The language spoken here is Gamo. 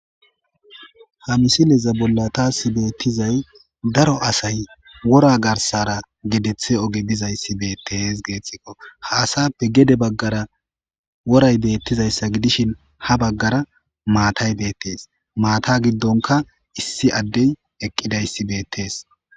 Ha misileza bolla tasi beettizay daro asay wora garsara gedeththe oge bizayssi beettees geettikko ha asappe gede baggara woray beettizayssa gidishin ha baggara maatay beettees maata giddonka issi addey eqqidayssi beettees.